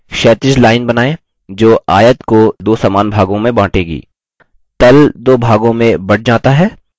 एक क्षैतिज line बनाएँ जो आयत को दो समान भागों में बाँटेगी